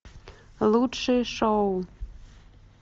лучшие шоу